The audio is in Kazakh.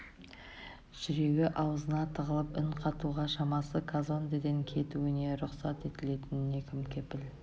жүрегі аузына тығылып үн қатуға шамасы казондеден кетуіне рұқсат етілетініне кім кепіл